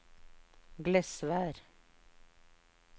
Glesvær